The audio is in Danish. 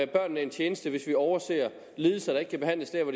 børnene en tjeneste hvis vi overser lidelser der ikke kan behandles der hvor